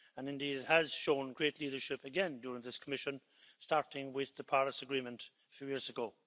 Indeed, it has shown great leadership again during this Commission, starting with the Paris Agreement a few years ago.